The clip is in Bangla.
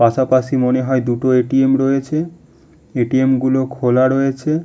পাশাপাশি মনে হয় দুটো এ.টি.এম. রয়েছে। এ.টি.এম. গুলো খোলা রয়েছে।